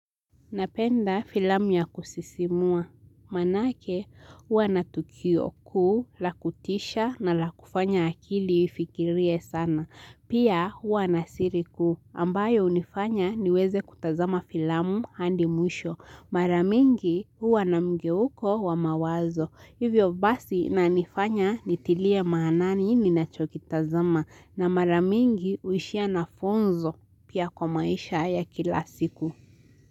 Napenda filamu ya kusisimua, maanake huwa natukio kuu, la kutisha na la kufanya akili ifikirie sana, pia huwa na siri kuu, ambayo unifanya niweze kutazama filamu hadi mwisho, mara mingi huwa namgeuko wa mawazo, hivyo basi inanifanya nitilie maanani ninachokitazama, na mara mingi huishia na funzo pia kwa maisha ya kila siku.